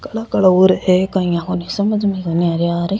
काला काला और है काई आपाने समझ में ही कोणी आ रिया र।